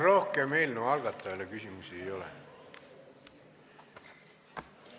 Rohkem eelnõu algatajale küsimusi ei ole.